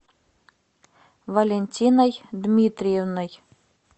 валентиной дмитриевной